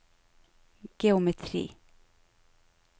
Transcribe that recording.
geometri